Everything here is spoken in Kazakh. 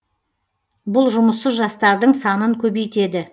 бұл жұмыссыз жастардың санын көбейтеді